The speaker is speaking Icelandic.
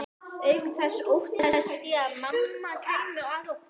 Auk þess óttaðist ég að mamma kæmi að okkur.